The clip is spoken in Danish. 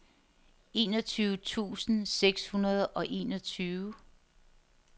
enogtyve tusind seks hundrede og enogtyve